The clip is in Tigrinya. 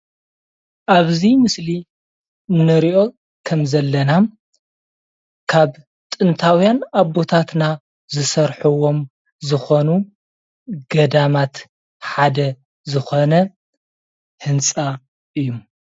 ኣብዚ ምስሊ እንሪኦ ከምዘለና ካብ ጥንታውያን ኣቦታትና ዝሰርሑዎም ዝኾኑ ገዳማት ሓደ ዝኾነ ህንፃ እዩ፡፡